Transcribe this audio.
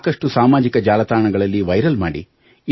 ಸಾಕಷ್ಟು ಸಾಮಾಜಿಕ ಜಾಲ ತಾಣಗಳಲ್ಲಿ ವೈರಲ್ ಮಾಡಿ